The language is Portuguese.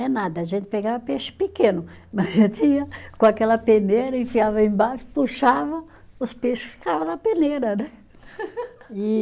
É nada, a gente pegava peixe pequeno, mas a gente ia com aquela peneira, enfiava embaixo, puxavam, os peixe ficava na peneira, né? E